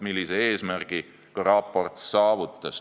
Selle eesmärgi raport ka saavutas.